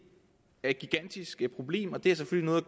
er et gigantisk problem og det har selvfølgelig